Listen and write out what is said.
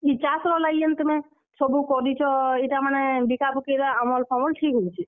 ଇ ଚାଷ୍ ର ଲାଗି ଯେନ୍ ତୁମେ, ସବୁ କରିଛ, ଇଟା ମାନେ ବିକା ବୁକିର ଆମଲ ଫମଲ ସବୁ ଠିକ୍ ହଉଛେ।